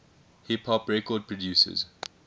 hip hop record producers